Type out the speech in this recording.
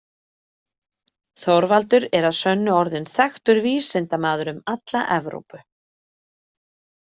Þorvaldur er að sönnu orðinn þekktur vísindamaður um alla Evrópu.